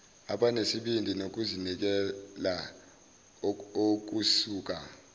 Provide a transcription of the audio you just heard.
abanesibindi nokuzinikela okusuka